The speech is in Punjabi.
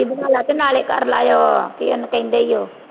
ਬਣਾ ਲਾ ਤੇ ਨਾਲੇ ਕਰਲਾ ਉਹ ਕੀ ਉਹਨੂੰ ਕਹਿੰਦੇ ਈ ਉਹ